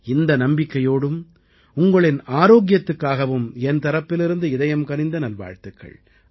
இந்த நம்பிக்கையோடும் உங்களின் ஆரோக்கியத்துக்காகவும் என் தரப்பிலிருந்து இதயம் கனிந்த நல்வாழ்த்துக்கள்